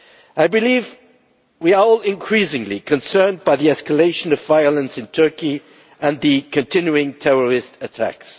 I believe we are all increasingly concerned by the escalation of violence in Turkey and the continuing terrorist attacks.